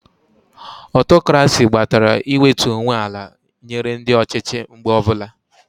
Ọtokrasi gbatara iwetu onwe ala nyere ndị ọchịchị mgbe ọbụla